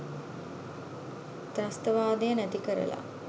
ත්‍රස්තවාදය නැතිකරලා